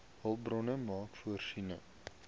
hulpbronne maak voorsiening